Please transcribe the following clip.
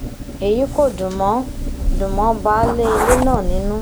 èyí kò dùn mọ́ dùn mọ́ baálé ilé náà nínú